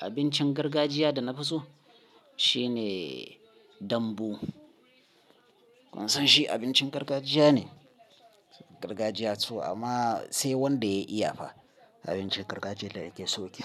Abincin gargajiya da nafi so shine dambu. Kun san shi abincin gargajiya ne? Gargajiya so, amma sai wanda ya iyafa abincin gargajiya da nake so yake.